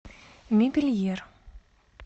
мебельер